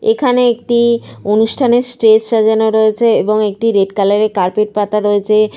এখানে একটি অনুষ্ঠানের স্টেজ সাজানো রয়েছে এবং একটি রেড কালার -এর কার্পেট পাতা রয়েছে।